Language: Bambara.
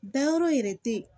Dayɔrɔ yɛrɛ te